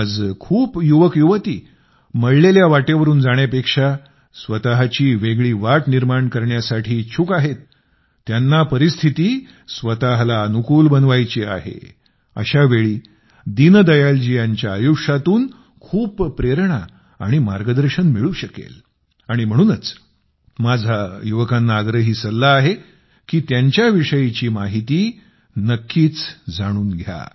आज खूप युवकयुवती मळलेल्या वाटेवरुन जाण्यापेक्षा स्वतःची वेगळी वाट निर्माण करण्यास इच्छुक आहेत त्यांना परिस्थिती स्वतःला अनुकूल बनवायची आहे अशा वेळी दीनदयालजी यांच्या आयुष्यातून खूप प्रेरणा आणि मार्गदर्शन मिळू शकेल आणि म्हणूनच माझा युवकांना आग्रही सल्ला आहे की त्यांच्याविषयीची माहिती नक्कीच जाणून घ्या